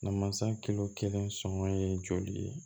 Na mansa kilo kelen sɔngɔ ye joli ye